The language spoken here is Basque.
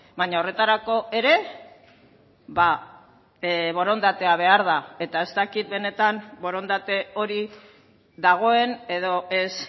baina horretarako ere borondatea behar da eta ez dakit benetan borondate hori dagoen edo ez